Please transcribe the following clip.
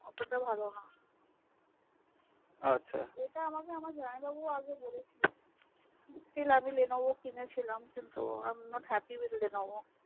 অতটা ভালো না আচ্ছা আমাকে আমার জামাই বাবু স্টিল আমি Levono কিনেছিলাম i am not happy with lenevo